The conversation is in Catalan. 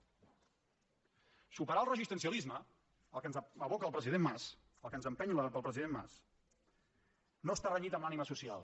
superar el resistencialisme allò a què ens aboca el president mas allò a què ens empeny el president mas no està renyit amb l’ànima social